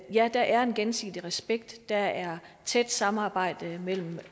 ja der er en gensidig respekt der er tæt samarbejde mellem